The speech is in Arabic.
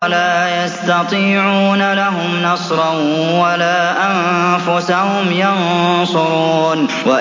وَلَا يَسْتَطِيعُونَ لَهُمْ نَصْرًا وَلَا أَنفُسَهُمْ يَنصُرُونَ